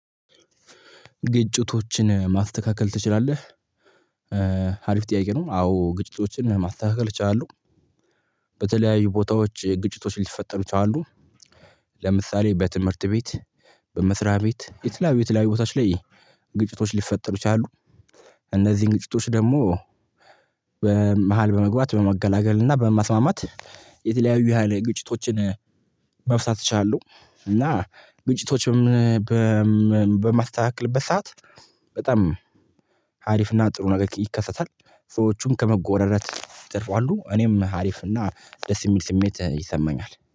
ግጭቶችን ማስተካከል ትችላለህ? አሪፍ ጥያቄ ነው። አዎ ግጭቶችን ማስተካከል እችላው። በተለያዩ ቦታዎች ግጭቶች ሊፈጠሩ ይችላሉ። ለምሳሌ በትምርት ቤት በመስሪያ ቤት የተለያዩ የተለያዩ ቦታዎች ላይ ግጭቶች ሊፈጠሩ ይችላሉ። እነዚን ግጭቶች ደሞ በመሃል በመግባት በማገላገል እና በማስማማት የተለያዩ ያለ ግጭቶችን መፍታት እችላለው። እና ግጭቶች በማስተካክልበት ሰዓት በጣም አሪፍና ጥሩ ነገር ይከሰታል። ሰዎቹም ከመጎዳዳት ይተርፋሉ እኔም አሪፍና ደስ ሚል ስሜት ይሰማኛል